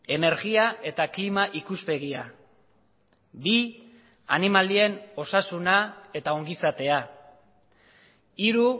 energia eta klima ikuspegia bi animalien osasuna eta ongizatea hiru